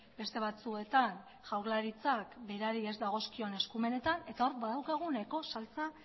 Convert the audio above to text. beste batzuetan jaurlaritzak berari ez dagozkion eskumenetan eta hor badaukagu nahiko saltsa